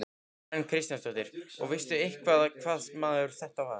Karen Kjartansdóttir: Og veistu eitthvað hvaða maður þetta var?